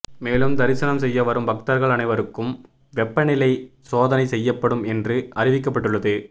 மேலும் தரிசனம் செய்ய வரும் பக்தர்கள் அனைவருக்கும் வெப்பநிலை சோதனை செய்யப்படும் என்றும் அறிவிக்கப்பட்டுள்ளது